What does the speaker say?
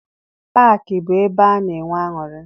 Paakị bụ ebe a na-enwe aṅụrị.